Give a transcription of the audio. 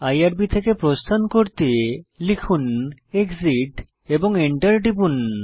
IRB থেকে প্রস্থান করতে লিখুন এক্সিট এবং এন্টার টিপুন